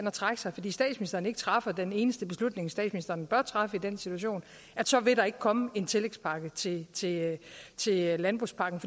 trække sig fordi statsministeren ikke træffer den eneste beslutning statsministeren bør træffe i den situation så vil der ikke komme en tillægspakke til til landbrugspakken